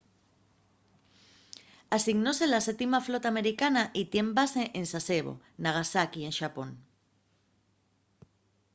asignóse a la 7ª flota americana y tien base en sasebo nagasaki en xapón